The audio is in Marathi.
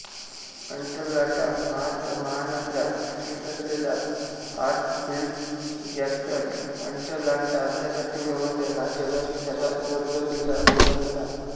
अटलांटा महानगरात स्थित असलेला हार्ट्सफील्डजॅक्सन अटलांटा आंतरराष्ट्रीय विमानतळ हा जगातील सर्वात वर्दळीचा विमानतळ आहे